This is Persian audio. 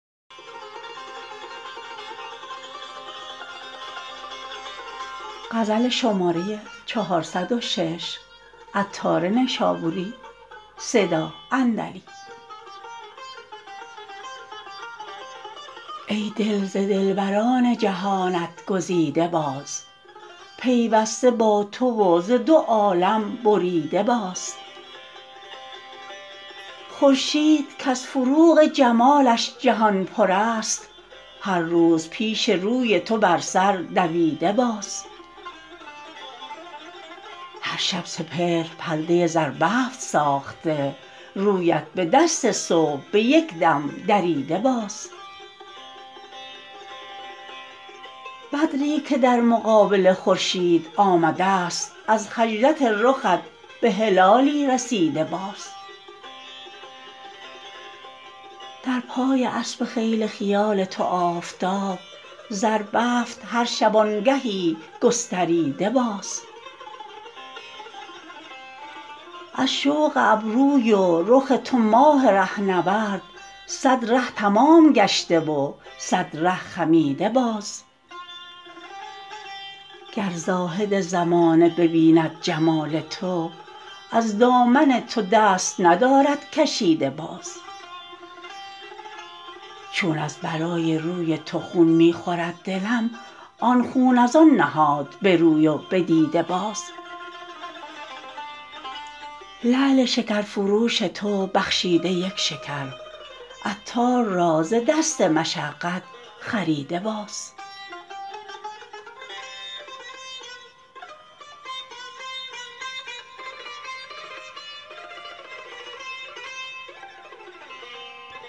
ای دل ز دلبران جهانت گزیده باز پیوسته با تو و ز دو عالم بریده باز خورشید کز فروغ جمالش جهان پر است هر روز پیش روی تو بر سر دویده باز هر شب سپهر پرده زربفت ساخته رویت به دست صبح به یکدم دریده باز بدری که در مقابل خورشید آمدست از خجلت رخت به هلالی رسیده باز در پای اسب خیل خیال تو آفتاب زربفت هر شبانگهیی گستریده باز از شوق ابروی و رخ تو ماه ره نورد صد ره تمام گشته و صد ره خمیده باز گر زاهد زمانه ببیند جمال تو از دامن تو دست ندارد کشیده باز چون از برای روی تو خون می خورد دلم آن خون از آن نهاد به روی و به دیده باز لعل شکر فروش تو بخشیده یک شکر عطار را ز دست مشقت خریده باز